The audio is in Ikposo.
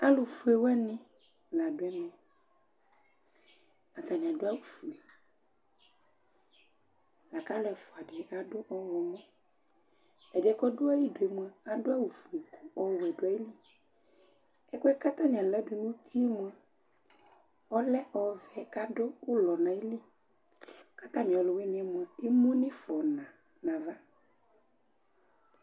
Alʋ fue wanɩ la dʋ ɛmɛAtanɩ adʋ awʋ fue ,akʋ alʋ ɛfʋa dɩ adʋ ɔɣlɔmɔƐdɩɛ kɔdʋ ayidu mʋa, adʋ awʋ fue ɔwɛ dʋ ayiliƐkʋɛ kʋ atanɩ aladʋ nutie mʋa, ɔlɛ ɔvɛ kadʋ ʋlɔ nayili, katamɩ ɔlʋ wɩnɩɛ mʋa, emu nʋ ɩfɔ na nava